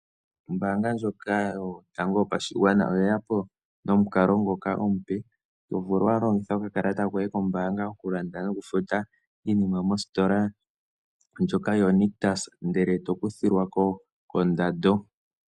Ombaanga ndjoka yotango yopashigwana oye yapo nomukalo ngoka omupe tovulu oku longitha oka kalata koye kombaanga. Oku landa noku futa iinima mositola ndjoka yo Nictus ndele eto kuthilwako kondando.